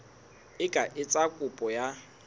e ka etsa kopo ya